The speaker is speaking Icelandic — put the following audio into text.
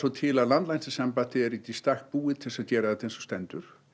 til að landlæknisembættið er ekki í stakk búið til þess að gera þetta eins og stendur